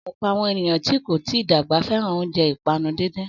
Ọ̀pọ̀ àwọn ènìyàn tí kò tí dàgbà fẹ́ràn oúnjẹ ìpanu díndín.